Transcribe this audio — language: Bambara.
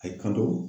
A ye kalo